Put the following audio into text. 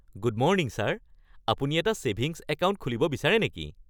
Good morning sir! আপুনি এটা savings account খুলিব বিচাৰে নেকি? (বেংক বিক্ৰেতা)